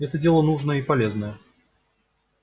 это дело нужное и полезное